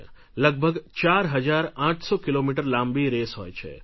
લગભગ ચાર હજાર આઠસો કિલોમીટર લાંબી રેસ હોય છે